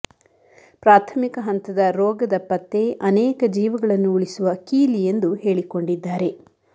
ಪ್ರಾಥಮಿಕ ಹಂತದ ರೋಗದ ಪತ್ತೆ ಅನೇಕ ಜೀವಗಳನ್ನು ಉಳಿಸುವ ಕೀಲಿ ಎಂದು ಹೇಳಿಕೊಂಡಿದ್ದಾರೆ